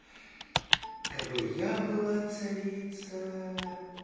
кабы я была царица